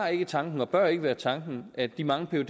tanken og ikke bør være tanken at de mange